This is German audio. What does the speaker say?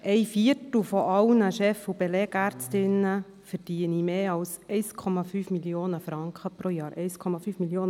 Ein Viertel aller Chef- und Belegärztinnen und -ärzte verdienten mehr als 1,5 Mio. Franken jährlich, hiess es.